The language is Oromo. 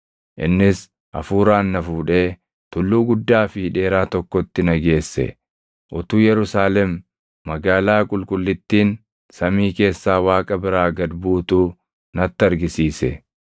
Innis Hafuuraan na fuudhee tulluu guddaa fi dheeraa tokkotti na geesse; utuu Yerusaalem Magaalaa Qulqullittiin samii keessaa Waaqa biraa gad buutuu natti argisiise.